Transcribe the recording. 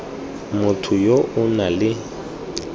motho yo o nang le